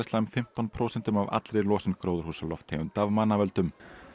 fimmtán prósentum af allri losun gróðurhúsalofttegunda af mannavöldum